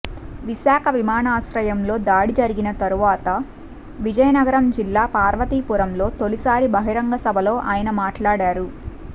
విశాఖ విమానాశ్రయంలో దాడి జరిగిన తర్వాత విజయనగరం జిల్లా పార్వతీపురంలో తొలిసారి బహిరంగసభలో ఆయన మాట్లాడారు